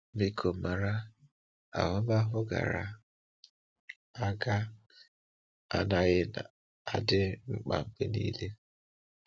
Biko mara: ahụmahụ gara aga anaghị adị mkpa mgbe niile.